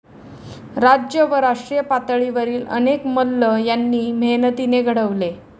राज्य व राष्ट्रीय पातळीवरील अनेक मल्ल त्यांनी मेहनतीने घडविले.